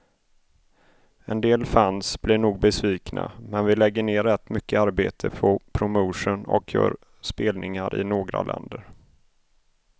En del fans blir nog besvikna, men vi lägger ner rätt mycket arbete på promotion och gör spelningar i några länder.